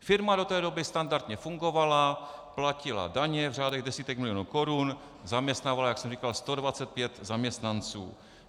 Firma do té doby standardně fungovala, platila daně v řádech desítek milionů korun, zaměstnávala, jak jsem říkal, 125 zaměstnanců.